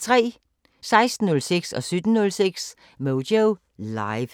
16:06: Moyo Live 17:06: Moyo Live